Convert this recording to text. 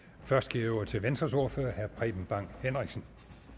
først giver jeg ordet til venstres ordfører herre preben bang henriksen